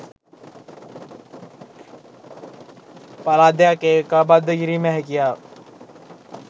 පළාත් දෙකක් ඒකාබද්ධ කිරීමේ හැකියාව